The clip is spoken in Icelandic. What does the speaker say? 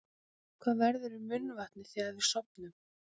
Hvað verður um munnvatnið þegar við sofum?